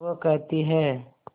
वो कहती हैं